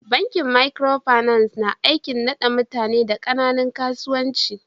Bankin microfinance na aiki na da mutane da kananan kasuwanci.